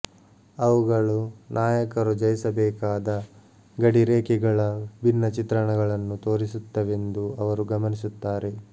ಅವುಗಳು ನಾಯಕರು ಜಯಿಸಬೇಕಾದ ಗಡಿರೇಖೆಗಳ ಭಿನ್ನ ಚಿತ್ರಣಗಳನ್ನು ತೋರಿಸುತ್ತವೆಂದು ಅವರು ಗಮನಿಸುತ್ತಾರೆ